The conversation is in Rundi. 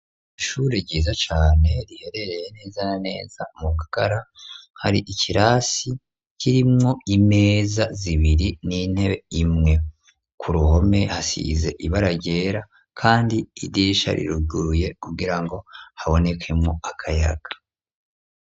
Ishure ryiza cane riherereye neza na neza mu kakara hari ikirasi kirimwo imeza zibiri n'intebe imwe ku ruhome hasize ibara ryera kandi idisha riruguruye kugira ngo habonekemwo akayaga.